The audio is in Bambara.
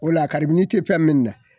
O la a kabini tɛ fɛn min na